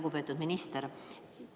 Lugupeetud minister!